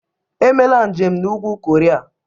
Emela njem na Ugwu Koria!